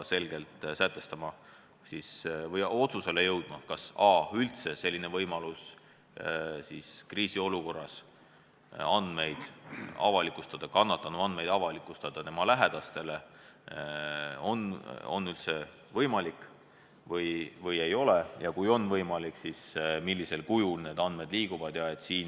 Me peame otsusele jõudma, kas on vaja kriisiolukorras kannatanu andmeid tema lähedastele teada anda, kas see on üldse võimalik ja kui on võimalik, siis millisel kujul need andmed liiguvad.